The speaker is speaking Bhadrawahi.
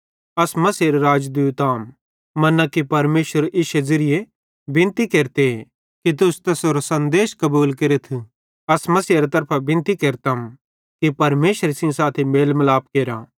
अस मसीहेरे राजदूत अहम मन्ना कि परमेशर इश्शे ज़िरिये बिनती केरते कि तुस तैसेरो सन्देश कबूल केरथ अस मसीहेरे तरफां बिनती केरतम कि परमेशरे सेइं साथी मेल मिलाप केरा